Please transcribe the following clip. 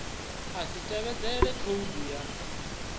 a si tevhedzele khoudu ya